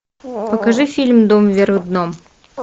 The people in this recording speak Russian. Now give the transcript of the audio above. покажи фильм дом вверх дном